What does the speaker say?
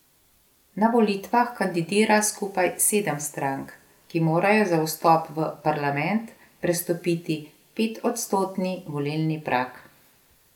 Na volitvah kandidira skupaj sedem strank, ki morajo za vstop v parlament prestopiti petodstotni volilni prag.